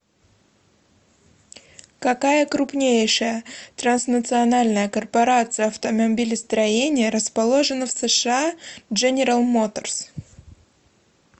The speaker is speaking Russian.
какая крупнейшая транснациональная корпорация автомобилестроения расположена в сша дженерал моторс